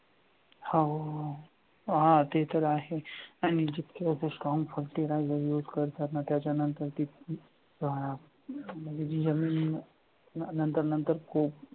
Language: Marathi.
हां हो, हां ते तर आहे आणि जितके आपण strong fertiliser use करतात ना त्याच्या नंतर ती जी जमीन नंतर नंतर खूप